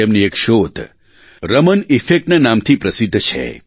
તેમની એક શોધ રમન ઇફેક્ટ ના નામથી પ્રસિધ્ધ છે